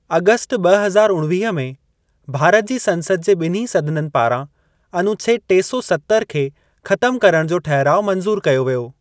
August ॿ हज़ार उणवीह में, भारत जी संसद जे ॿिन्हीं सदननि पारां अनुच्छेद टे सौ सत्तर खे खतम करण जो ठहिराउ मंज़ूर कयो वियो।